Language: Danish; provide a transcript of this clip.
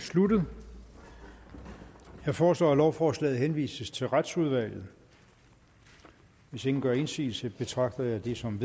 sluttet jeg foreslår at lovforslaget henvises til retsudvalget hvis ingen gør indsigelse betragter jeg det som